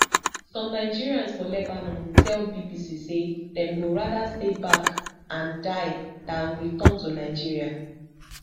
some nigerians for lebanon tell bbc say dem go rather stay back and die dan return to nigeria